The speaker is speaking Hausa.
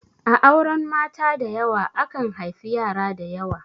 A auren mata dayawa, akan haifi yara dayawa.